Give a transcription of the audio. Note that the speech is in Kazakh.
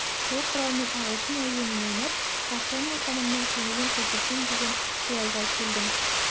сол құралмен ағылшын әуенін ойнап патша мен ханымның көңілін көтерсем деген қиялға келдім